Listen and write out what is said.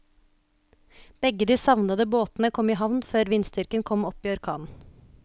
Begge de savnede båtene kom i havn før vindstyrken kom opp i orkan.